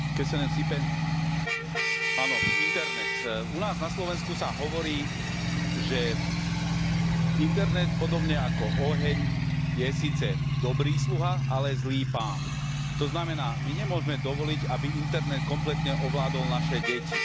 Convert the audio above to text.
Vážená pani predsedajúca, áno, internet, u nás na Slovensku sa hovorí, že internet podobne ako oheň je síce dobrý sluha, ale zlý pán. To znamená, my nemôžeme dovoliť, aby internet kompletne ovládol naše deti.